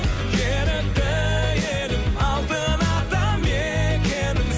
ерікті елім алтын ата мекенім